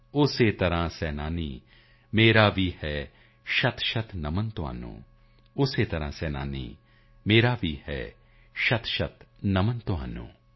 ਉਸੀ ਤਰਹ ਸੇਨਾਨੀ ਮੇਰਾ ਭੀ ਹੈ ਸ਼ਤਸ਼ਤ ਨਮਨ ਤੁਮੇ ਉਸੀ ਤਰਹ ਸੇਨਾਨੀ ਮੇਰਾ ਭੀ ਹੈ ਸ਼ਤਸ਼ਤ ਨਮਨ ਤੁਮੇ